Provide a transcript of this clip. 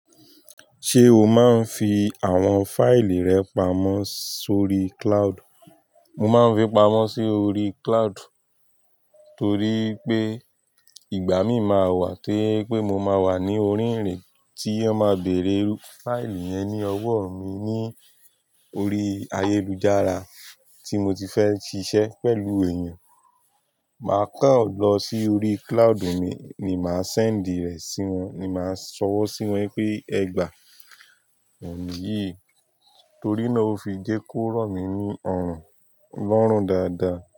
Ṣé o máa ń fi àwọn fáìlì rẹ pamọ́ sórí cloud? Mo máa ń fi pamọ́ sórí cloud torí pé ìgbà mí máa wà to jẹ pé mo máa wà ní orí irin tí won máa bèrè fáìlì yẹn ní ọwọ́ mi ní orí ayélujára tí mo ti fẹ́ ṣiṣẹ́ pẹ̀lú èèyàn. Màá kán lọ sórí cloud mi ni màá sẹ́ẹ̀ndì rẹ̀ sí wọn ni màá fi sọwọ́ sí wọn pé ẹ gbà oun niyi tori náà o fi jẹ ko rọ mi ni ọrun, lọrun daadaa.